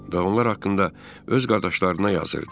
Və onlar haqqında öz qardaşlarına yazırdı.